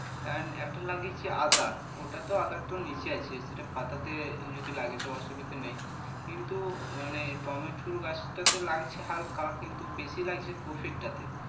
And একটা লাগিয়েছি আদা ওটা তো আদারতো নিচে আছে সেটা পাতাতে যদি লাগে তো অসুবিধা নেই কিন্তু মানে টমেটুর গাছটাতে লাগছে হালকা কিন্তু বেশি লাগছে কফিরটাতে